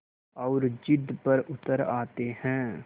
और ज़िद पर उतर आते हैं